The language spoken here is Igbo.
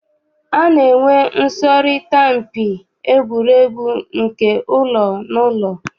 A na-enwe nsọrịta mpi egwuregwu nke ụlọ na ụlọ.